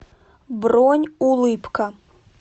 бронь улыбка